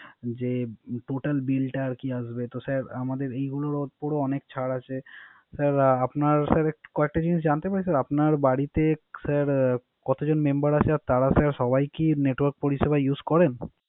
যে Total Bill টা আরকি আসবে। সে স্যার এগুলার পরো অনেক ছার আছে। স্যার কয়েকটা জিনিস জানতে পারি? আপনার বাড়িতে কত জন Member আছেন তারা সবাই কি Network পরিসেবা Use করেন